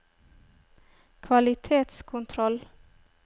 kvalitetskontroll